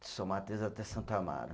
De São Mateus até Santo Amaro.